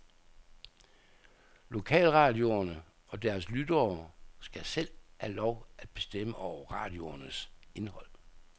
Lokalradioerne og deres lyttere skal selv have lov at bestemme over radioernes indhold.